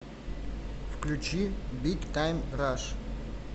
включи биг тайм раш